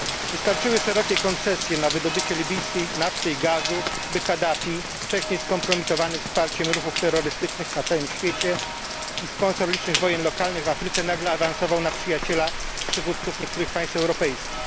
Wystarczyły szerokie koncesje na wydobycie libijskiej nafty i gazu, by Kadafi, wcześniej skompromitowany wsparciem ruchów terrorystycznych na całym świecie i sponsor licznych wojen lokalnych w Afryce, nagle awansował na przyjaciela przywódców niektórych państw europejskich.